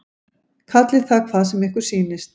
Kallið það hvað sem ykkur sýnist.